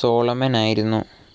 Solomon ആയിരുന്നു.